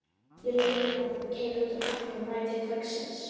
Ég leigði vagn og keyrði um allan bæ til kvöldsins.